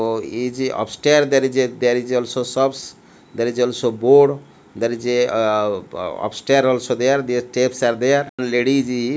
o ize upstair there is a there is also shops there is also board there is a ugh upstair also there their steps are there one ladie is he--